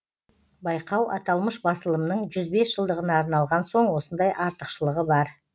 байқау аталмыш басылымның жүз бес жылдығына арналған соң осындай артықшылығы бар